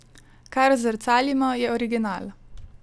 Kar zrcalimo, je original.